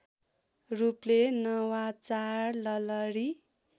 रूपले नवाचार ललरी